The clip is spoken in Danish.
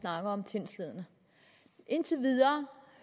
snakker om sindslidende indtil videre